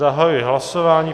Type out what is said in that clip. Zahajuji hlasování.